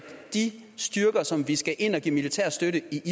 de styrker som vi skal ind og give militær støtte i